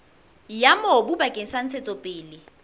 ya mobu bakeng sa ntshetsopele